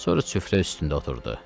Sonra süfrə üstündə oturdu.